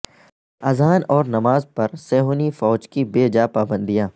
اذان اور نماز پر صہیونی فوج کی بے جا پابندیاں